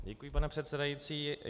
Děkuji, pane předsedající.